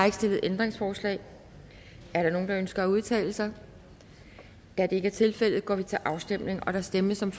ikke stillet ændringsforslag er der nogen der ønsker at udtale sig da det ikke er tilfældet går vi til afstemning og der stemmes om